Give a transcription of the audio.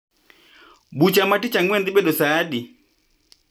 Bucha ma tich ang'wen dhi bedo saa adi?